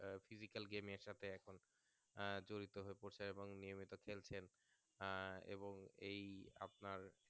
Physical game এর সাথে এখন জড়িত হয়ে পড়ছে এবং নিয়মিত খেলছেন এই আপনার